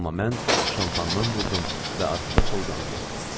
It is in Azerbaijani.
Amma mən şampandan vurdum və arxotakda uzanıb yatdım.